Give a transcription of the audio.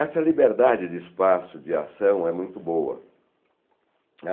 Essa liberdade de espaço, de ação, é muito boa.